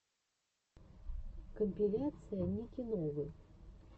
компиляция ники новы